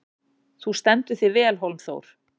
Þú stendur þig vel, Hólmþór!